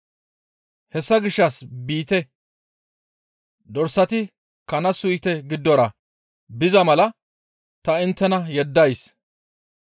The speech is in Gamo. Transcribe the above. Hessa gishshas biite; dorsati kana suyte giddora biza mala ta inttena yeddays.